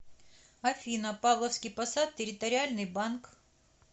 афина павловский посад территориальный банк